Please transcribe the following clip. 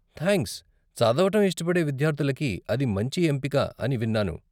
Thanks, చదవటం ఇష్టపడే విద్యార్ధులకి అది మంచి ఎంపిక అని విన్నాను.